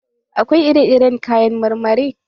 Akwai ire iren kayan marmari.